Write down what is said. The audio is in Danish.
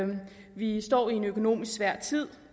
vi står i en økonomisk svær tid